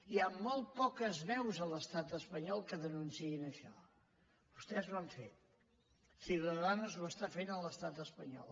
i hi ha molt poques veus a l’estat espanyol que denunciïn això vostès ho han fet ciudadanos ho està fent a l’estat espanyol